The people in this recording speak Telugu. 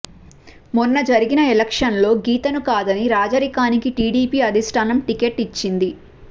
మొన్న జరిగిన ఎలక్షన్లో గీతను కాదని రాజరికానికి టీడీపీ అధిస్టానం టిక్కెట్టు ఇచ్చింది